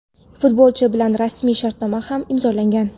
Futbolchi bilan rasmiy shartnoma ham imzolangan;.